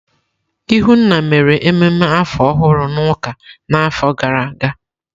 Ihunna mere ememe afọ ọhụrụ n'ụka n'afọ gara aga.